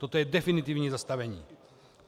Toto je definitivní zastavení.